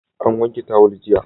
An wanke tawul jiya.